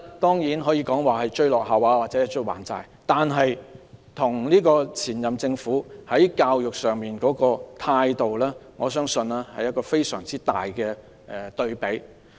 當然，這可以說是追落後或還債，但與上屆政府對教育工作的態度是非常大的對比。